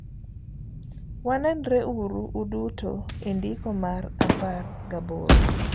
Wanenre uru uduto endiko mar apar gaboro.